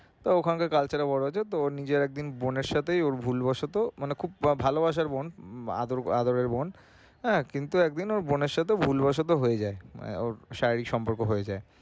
ওখানকার culture এ বড় হয়েছে তো নিজে একদিন বোনের সাথে ওর ভুলবশত মানে খুব ভালোবাসার বোন আদরের বোন হ্যাঁ কিন্তু একদিন ওর বোনের সাথে ভুলবশত হয়ে যায় মানে ওর শারীরিক সম্পর্ক হয়ে যায়।